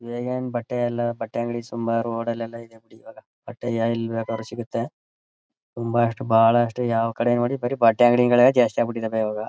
ಈಗೇನು ಬಟ್ಟೆ ಎಲ್ಲ ಬಟ್ಟೆ ಅಂಗಡಿ ತುಂಬಾ ರೋಡ್ ಲ್ಲೆಲ್ಲ ಇವೆ ಇವಾಗ ಬಟ್ಟೆ ಎಲ್ ಬೇಕಾದ್ರು ಸಿಗುತ್ತೆ ತುಂಬಾ ಅಷ್ಟು ಬಹಳಷ್ಟು ಯಾವ ಕಡೆ ನೋಡಿದ್ರು ಬರಿ ಬಟ್ಟೆ ಅಂಗಡಿಗಳೇ ಜಾಸ್ತಿ ಆಗಿ ಬಿಟ್ಟಿದ್ದಾವೆ ಈಗ.